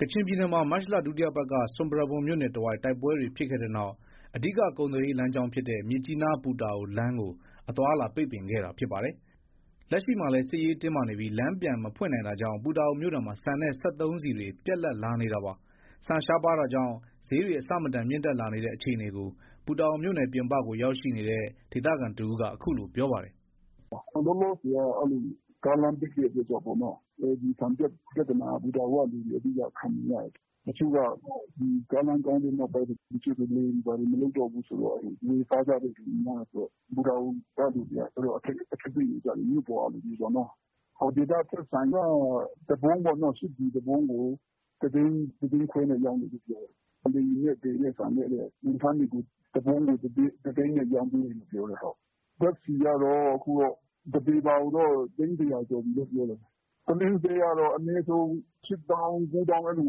ကချင်ပြည်နယ်မှာ မတ်လ ဒုတိယပတ်က ဆွမ်ပရာဘွမ်မြို့နယ်တဝိုက် တိုက်ပွဲတွေဖြစ်ခဲ့ပြီးနောက် အဓိကကုန်သွယ်ရေးလမ်းကြောင်းဖြစ်တဲ့ မြစ်ကြီးနား- ပူတာအိုလမ်းကို အသွားအလာပိတ်ပင်ခဲ့တာဖြစ်ပါတယ်။ လက်ရှိမှာလည်း စစ်ရေးတင်းမာနေပြီး လမ်းပြန်မဖွင့်နိုင်တာကြောင့် ပူတာအိုမြို့နယ်မှာ ဆန်နဲ့ စက်သုံးဆီတွေ ပြတ်လပ်လာနေတာပါ။ ဆန်ရှားပါးတာကြောင့် ဈေးတွေ အဆမတန်မြင့်တက်လာနေတဲ့ အခြေအနေကို ပူတာအိုမြို့နယ် ပြင်ပကို ရောက်ရှိနေတဲ့ ဒေသခံတဦးက အခုလို ပြောပါတယ်။ “လောလောဆယ်က ကားလမ်းပိတ်တဲ့အတွက်ကြောင့်ပေါ့နော်။ ဆန်ပြဿနာက ပူတာအိုကလူတွေ အဓိက ခံနေရတာ။ တချို့က ကားလမ်းကောင်းတဲ့နောက်ပိုင်းဆို လယ်တွေဘာတွေ မလုပ်တော့ဘူးဆို ဝယ်စားကြတဲ့သူတွေများတယ်ဆိုတော့ ပူတာအိုက လူတွေက အခက်အခဲတွေ့နေကြတယ်။ မြို့ပေါ်က လူတွေပေါ့နော်။ ဒေသထွက်ဆန်က တပုံးပေါ့နော။ ၈ပြည်တပုံးကို တသိန်း၊ တသိန်းခွဲနဲ့ ရောင်းနေတယ်ပြောတယ်။ လေယာဉ်နဲ့ သယ်တဲ့ ဆန်ကျတော့ဝန်ထမ်းတွေကို ဝန်ထမ်းတွေကို တပုံးကို တသိန်းနဲ့ ရောင်းပေးနေတယ်ပြောတယ်။ ဓါတ်ဆီကတော့ တပေပါကိုတော့ သိန်း ၁၀၀ ကျော်ပြီလို့ ပြောတယ်။ ပုလင်းဈေးကတော့ အနည်းဆုံး ၈သောင်း၊ ၉သောင်း အဲလို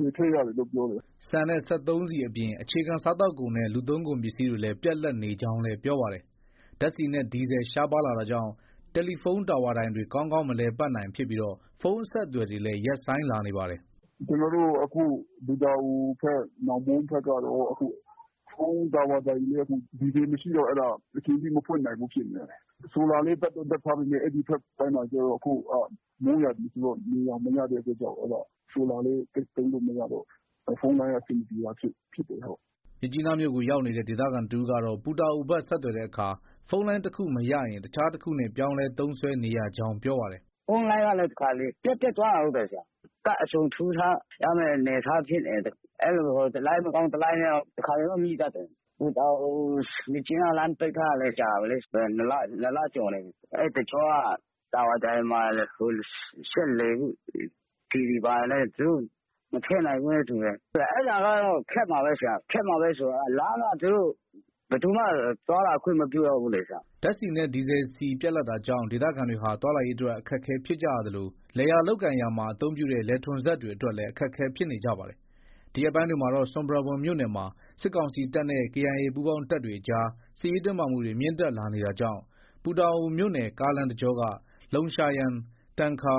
ဝယ်ထည့်ရတယ်လို့ ပြောတယ်။” ဆန်နဲ့ စက်သုံးဆီအပြင် အခြေခံ စားသောက်ကုန်နဲ့ လူသုံးကုန်ပစ္စည်းတွေလည်း ပြတ်လပ်နေကြောင်းလည်း ပြောပါတယ်။ ဓါတ်ဆီနဲ့ ဒီဇယ် ရှားပါးလာတာကြောင့် တယ်လီဖုန်းတာဝါတိုင်တွေ ကောင်းကောင်း မလည်ပတ်နိုင်ဖြစ်ပြီး ဖုန်းအဆက်အသွယ်တွေလည်း ရပ်ဆိုင်းလာနေပါတယ်။ “ ကျနော်တို့ အခု ပူတာအိုဘက်၊ နောင်မွန်းဘက်ကတော့ ဖုန်းတာဝါတိုင်တွေလည်း ဒီဇယ်မရှိတော့ အချိန်ပြည့် မဖွင့်နိုင်ဘူးဖြစ်နေတယ်။ ဆိုလာလည်း တပ်တော့ တပ်ထားပေမဲ့ အဲဒီဘက်ပိုင်းမှာက အခုက မိုးရာသီဆိုတော့ နေရောင်မရတဲ့အတွက်ကြောင့် ဆိုလာလည်း သိပ်သုံးလို့ မရတော့ဘူး။ ဖုန်းလိုင်းက အဆင်မပြေတာဖြစ်တယ်။” မြစ်ကြီးနားမြို့ကို ရောက်နေတဲ့ ဒေသခံတဦးကတော့ ပူတာအိုဘက် ဆက်သွယ်တဲ့အခါ ဖုန်းလိုင်းတခု မရရင် တခြားတခုနဲ့ ပြောင်းလဲ သုံးစွဲနေရကြောင်း ပြောပါတယ်။ “ ဖုန်းလိုင်းကလည်း တခါတလေ ပြတ်ပြတ်သွားတာ ဟုတ်တယ်ဆရာ၊ ကဒ်အစုံထိုးထားရတဲ့ အနေအထား ဖြစ်နေတယ်။ အဲလို တလိုင်းမကောင်း တလိုင်းနဲ့တော့တခါတလေတော့ မိတတ်တယ်။ ပူတာအို- မြစ်ကြီးနားလမ်းပိတ်ထားတာလည်း ကြာပြီလေ။ ၂လကျော်နေပြီ။ အဲတော့ ဒီ အဲဒီတကြောက တာဝါတိုင်မှာ စက်လည်ဖို့ ဆီတွေ ဘာတွေလည်း သူတို့မထည့်နိုင်ဘူးနဲ့ တူတယ်။ အဲဒါကတော့ ခက်မှာပဲ။ ခက်မှာပဲဆိုတော့ လမ်းက သူတို့ ဘယ်သူမှ သွားလာခွင့်မပြုတော့ဘူးလေ။” ဓါတ်ဆီနဲ့ ဒီဇယ်ဆီပြတ်လပ်တာကြောင့် ဒေသခံတွေဟာ သွားလာရေးအတွက် အခက်အခဲဖြစ်ကြရသလို လယ်ယာလုပ်ကိုင်ရာမှာ အသုံးပြုတဲ့ လယ်ထွန်စက်တွေအတွက်လည်း အခက်အခဲဖြစ်နေကြပါတယ်။ ဒီရက်ပိုင်းတွေမှာတော့ ဆွမ်ပရာဘွမ်မြို့နယ်မှာ စစ်ကောင်စီတပ်နဲ့ KIA ပူးပေါင်းတပ်တွေအကြား စစ်ရေးတင်းမာမှုတွေ မြင့်တက်နေတာကြောင့် ပူတာအိုမြို့နယ်ကားလမ်းတကြောက လုံရှာယန်၊ တန်ဂျာ၊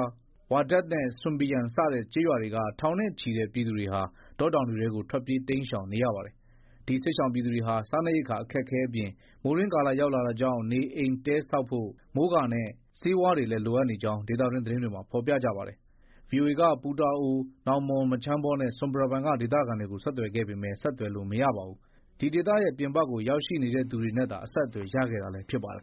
ဝါဒတ်နဲ့ ဆွမ်ပီယန်စတဲ့ ကျေးရွာတွေက ထောင်နဲ့ ချီတဲ့ ပြည်သူတွေဟာ တောတောင်တွေထဲကို ထွက်ပြေးတိမ်းရှောင်နေရပါတယ်။ ဒီစစ်ရှောင်ပြည်သူတွေဟာ စားနပ်ရိက္ခာအခက်အခဲအပြင် မိုးတွင်းကာလရောက်တာကြောင့် နေအိမ်တဲဆောက်ဖို့ မိုးကာနဲ့ ဆေးဝါးတွေလည်း လိုအပ်နေကြောင်း ဒေသတွင်း သတင်းတွေမှာ ဖော်ပြပါတယ်။ VOA က ပူတာအို၊ နောင်မွန်း၊မချမ်းဘောနဲ့ ဆွမ်ပရာဘွမ်က ဒေသခံတွေကို ဆက်သွယ်ခဲ့ပေမဲ့ ဆက်သွယ်လို့ မရပါဘူး။ ဒီဒေသရဲ့ ပြင်ပကို ရောက်ရှိနေသူတွေနဲ့သာ ဆက်သွယ်ရခဲ့တာလည်း ဖြစ်ပါတယ်